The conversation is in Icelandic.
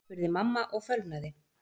spurði mamma og fölnaði.